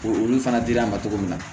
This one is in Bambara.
Olu fana dir'an ma cogo min na